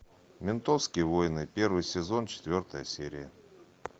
ментовские войны первый сезон четвертая серия